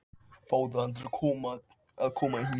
Fáðu hann til að koma hingað!